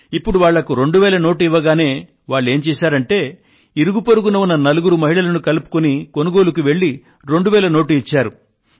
ఇప్పుడు వాళ్ళకి 2000 రూపాయల నోటు ఇవ్వగానే వాళ్ళు ఏం చేశారంటే ఇరుగు పొరుగున ఉన్న నలుగురు మహిళలను కలుపుకొని కొనుగోళ్లు జరిపి 2000 రూపాయల నోటు ఇచ్చారు